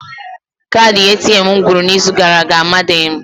Kaadị ATM m gwụrụ n'izu gara aga, amaghịdị m